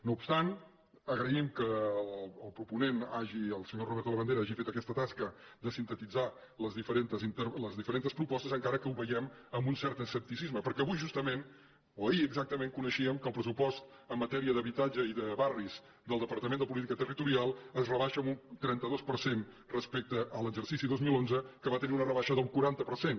no obstant agraïm que el proponent el senyor roberto labandera hagi fet aquesta tasca de sintetitzar les diferents propostes encara que ho veiem amb un cert escepticisme perquè avui justament o ahir exactament coneixíem que el pressupost en matèria d’habitatge i de barris del departament de política territorial es rebaixa en un trenta dos per cent respecte a l’exercici dos mil onze que va tenir una rebaixa del quaranta per cent